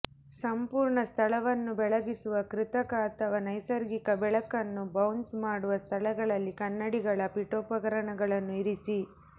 ಸಂಪೂರ್ಣ ಸ್ಥಳವನ್ನು ಬೆಳಗಿಸುವ ಕೃತಕ ಅಥವಾ ನೈಸರ್ಗಿಕ ಬೆಳಕನ್ನು ಬೌನ್ಸ್ ಮಾಡುವ ಸ್ಥಳಗಳಲ್ಲಿ ಕನ್ನಡಿಗಳ ಪೀಠೋಪಕರಣಗಳನ್ನು ಇರಿಸಿ